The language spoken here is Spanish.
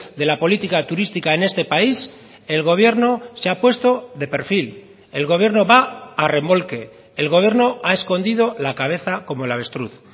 de la política turística en este país el gobierno se ha puesto de perfil el gobierno va a remolque el gobierno ha escondido la cabeza como el avestruz